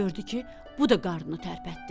Gördü ki, bu da qarnını tərpətdi.